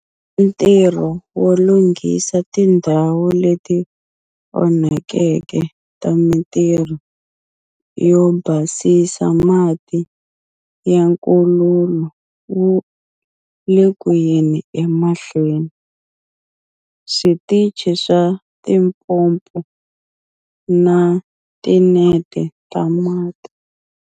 Ntirho wo lunghisa tindhawu leti onhakeke ta mitirho yo basisa mati ya nkululu wu le kuyeni emahlweni, switichi swa tipompo na tinete ta mati.